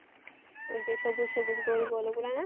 ওই যে সবুজ সবুজ গোল গোল ওগুলোই না?